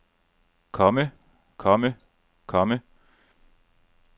komme komme komme